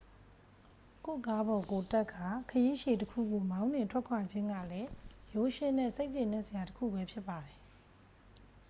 ကိုယ့်ကားပေါ်ကိုယ်တက်ကာ ခရီးရှည်တစ်ခုကို မောင်းနှင်ထွက်ခွာခြင်းကလည်း ရိုးရှင်းတဲ့ စိတ်ကျေနပ်စရာ တစ်ခုဘဲ ဖြစ်ပါတယ်